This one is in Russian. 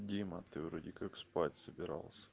дима ты вроде как спать собирался